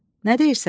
Nə deyirsən?